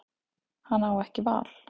Hann á ekki val.